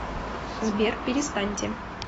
сбер перестаньте